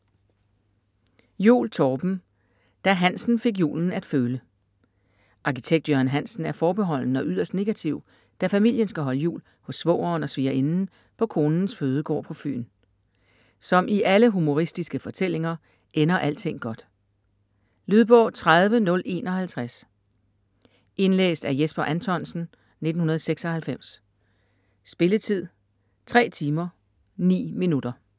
Juul, Torben: Da Hansen fik julen at føle Arkitekt Jørgen Hansen er forbeholden og yderst negativ, da familien skal holde jul hos svogeren og svigerinden på konens fødegård på Fyn. Som i alle humoristiske fortællinger ender alting godt. Lydbog 30051 Indlæst af Jesper Anthonsen, 1996. Spilletid: 3 timer, 9 minutter.